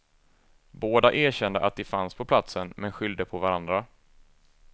Båda erkände att de fanns på platsen men skyllde på varandra.